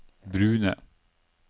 brune